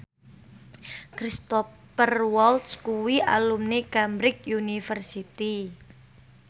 Cristhoper Waltz kuwi alumni Cambridge University